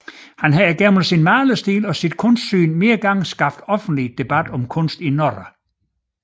Han har gennem sin malerstil og sit kunstsyn flere gange skabt offentlig debat om kunst i Norge